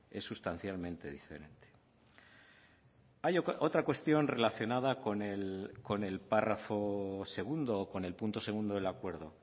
es sustancialmente diferente hay otra cuestión relacionada con el párrafo segundo con el punto segundo del acuerdo